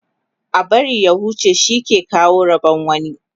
a bari ta huce shi ke kawo Rabon wani